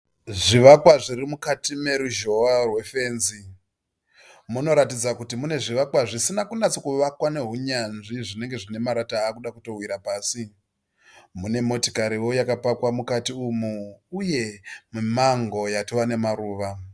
Zvivakwa zvirimukati meruzhowa rwe fenzi. Munoratidza kuti mune zvivakwa zvisina kunyatso vakwa nehunyanzvi zvinenge zvinemarata akuda kutowira pasi . Mune motikariwo yaka pakwa mukati umu uye mumango watova nemaruva.